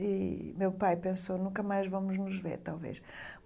E meu pai pensou, nunca mais vamos nos ver, talvez.